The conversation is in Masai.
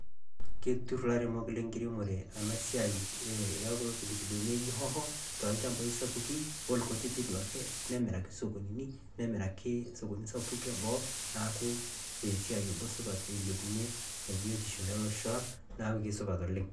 Keturr ilairemok lenkiremore ena siai e kulo pipilini ooji hoho tolchampai sapuki olkutiti duo ake, nemiraki isokonini, nemiraki isokonini kutitik eboo neeku esiaiai nabo supat ilepunyie esiai olosho lang' neeku supat oleng'.